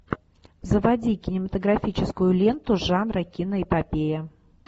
заводи кинематографическую ленту жанра киноэпопея